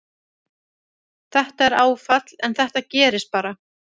Þetta er áfall en þetta gerist bara.